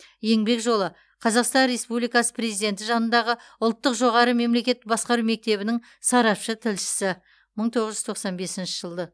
еңбек жолы қазақстан республикасы президенті жанындағы ұлттық жоғары мемлекеттік басқару мектебінің сарапшы тілшісі мың тоғыз жүз тоқсан бесінші жылы